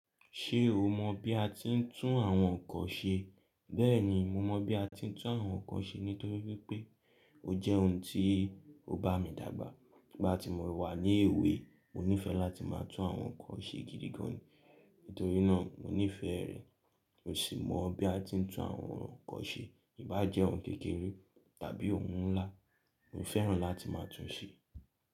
Ṣé o mọ bí a ti ń tún àwọn nǹkan ṣe? Bẹ́ẹ̀ni, mo mọ bí a ti ń tún àwọn nǹkan ṣe nítorí wípé ó jẹ́ ohun tí ó bá mi dàgbà. Nígbà tí mo wà ní èwe, mo nífe láti máa tún àwọn nǹkan ṣe gidi gan-an, nítorí náà mo nífẹ̀ẹ́ rẹ. Mo sì mọ bí a ti ń tún àwọn nǹkan ṣe, e bá jẹ́ ohun kékeré tàbí ohun ńlá, mo fẹ́ràn láti máa tún ṣe.